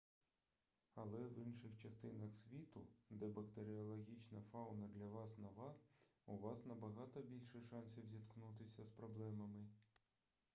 але в інших частинах світу де бактеріологічна фауна для вас нова у вас набагато більше шансів зіткнутися з проблемами